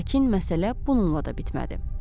Lakin məsələ bununla da bitmədi.